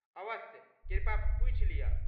अवश्य। कृपया पूछि लिय।